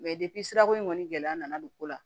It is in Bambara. sirako in kɔni gɛlɛya nana don ko la